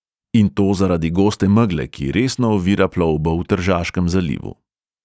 In to zaradi goste megle, ki resno ovira plovbo v tržaškem zalivu.